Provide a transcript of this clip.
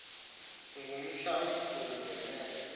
ngumhla omkhulu ngenene